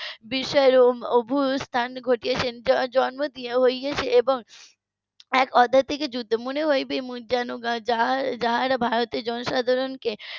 বিষয়ের অভ্যুথান ঘটিয়েছেন . এবং এক অধ্যাত্বিক যুদ্ধ মনে হবে যেন যারা যারা ভারতের জনসাধারণ কে